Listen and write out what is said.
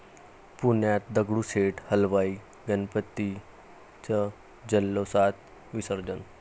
पुण्यात दगडूशेठ हलवाई गणपतीचं जल्लोषात विसर्जन